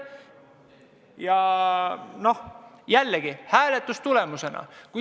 Jällegi otsustati nii hääletuse tulemusena.